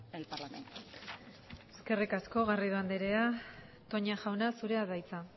el parlamento eskerrik asko garrido anderea toña jauna zurea da hitza